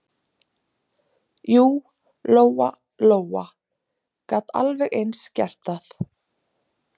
Jú, Lóa Lóa gat alveg eins gert það.